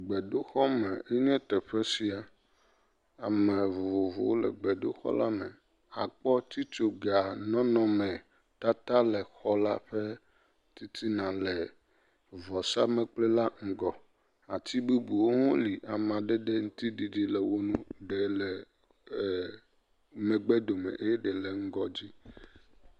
Gbedoxɔme nye teƒe sia, ame vovovowo le gbedoxɔme la me. Akpɔ titso ga ƒe nɔnɔme tata le xɔ la ƒe titina le vɔsa mekpli la ŋgɔ. Ati bubuwo ha le amadede ŋuti didi le woŋu, ede le megbe dome eye ede le ŋgɔdzi.